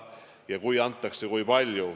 Ja kui antakse, siis kui palju.